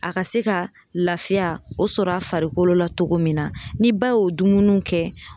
A ka se ka lafiya o sɔrɔ a farikolo la cogo min na , ni ba y'o dumuniw kɛ